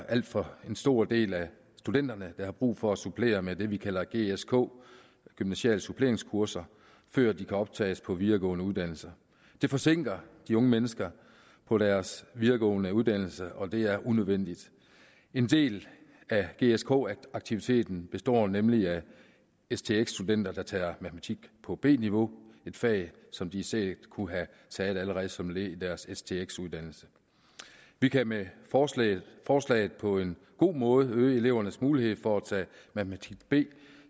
alt for stor del af studenterne der har brug for at supplere med det vi kalder gsk gymnasiale suppleringskurser før de kan optages på videregående uddannelser det forsinker de unge mennesker på deres videregående uddannelse og det er unødvendigt en del af gsk aktiviteten består nemlig af stx studenter der tager matematik på b niveau et fag som de sikkert kunne have taget allerede som et led i deres stx uddannelse vi kan med forslaget forslaget på en god måde øge elevernes mulighed for at tage matematik b